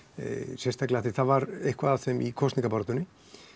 sérstaklega af því það var eitthvað af þeim í kosningabaráttunni